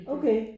Okay